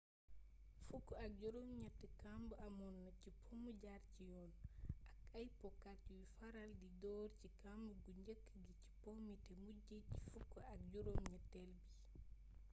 fukk ak juroom gneti kamb amoonna ci pomu jar ci yoon ak ay po kat yuy faral di door ci kamb gu njeek gi ci poomi té mujjé ci fukk ak juroom gnettél bi